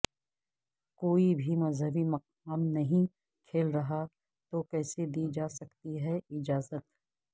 کوئی بھی مذہبی مقامات نہیں کھل رہا تو کیسے دی جاسکتی ہے اجازت